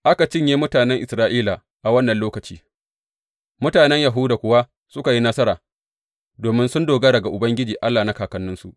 Aka cinye mutanen Isra’ila a wannan lokaci, mutanen Yahuda kuwa suka yi nasara domin sun dogara ga Ubangiji Allah na kakanninsu.